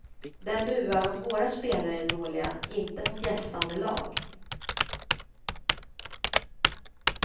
Den buar om våra spelare är dåliga, inte mot gästande lag.